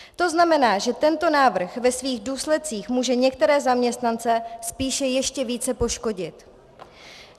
To znamená, že tento návrh ve svých důsledcích může některé zaměstnance spíše ještě více poškodit.